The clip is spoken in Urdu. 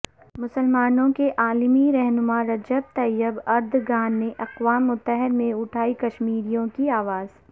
مسلمانوں کے عالمی رہنما رجب طیب اردگان نے اقوام متحدہ میں اٹھائی کشمیریوں کی اواز